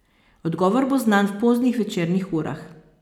Odgovor bo znan v poznih večernih urah.